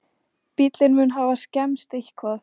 Bíllinn mun hafa skemmst eitthvað